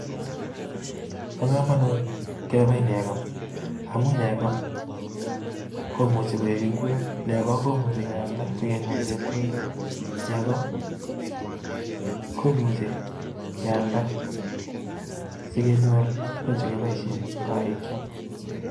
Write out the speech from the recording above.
Bo komonut kebab nekoo. Amun nekoo komuchi koik ingwek I,imuchi kealda sikenyor chepkondok, nekoo komuchi kealda sikenyor tuguun chekiboishien en korikyok